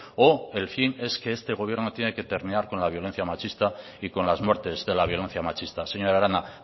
o el fin es que este gobierno tiene que terminar con la violencia machista y con las muertes de la violencia machista señora arana